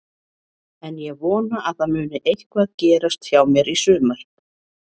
En ég vona að það muni eitthvað gerast hjá mér í sumar.